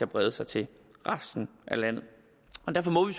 brede sig til resten af landet derfor må vi